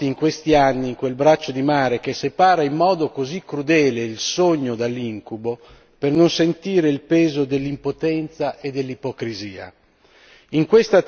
Troppi sono i morti, in questi anni, in quel braccio di mare che separa in modo così crudele il sogno dall'incubo, per non sentire il peso dell'impotenza e dell'ipocrisia.